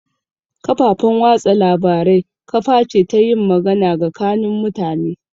Kafafan watsa labarai kaface ta yin magana gakanin mutane